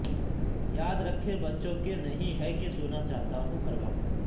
یاد رکھیں بچوں کے نہیں ہے کہ سونا چاہتا ہوں ہر وقت